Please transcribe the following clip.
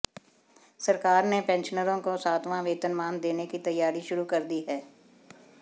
सरकार ने पेंशनरों को सातवां वेतनमान देने की तैयारी शुरू कर दी है